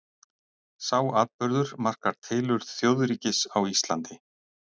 Sá atburður markar tilurð þjóðríkis á Íslandi.